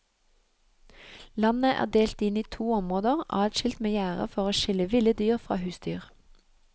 Landet er delt inn i to områder adskilt med gjerde for å skille ville dyr fra husdyr.